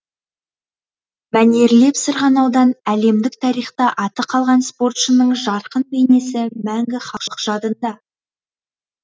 мәнерлеп сырғанаудан әлемдік тарихта аты қалған спортшының жарқын бейнесі мәңгі халық жадында